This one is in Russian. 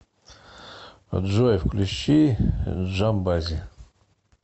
джой включи джамбази